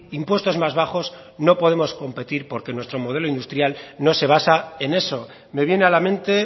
impuestos más bajos no podemos competir porque nuestro modelo industrial no se basa en eso me viene a la mente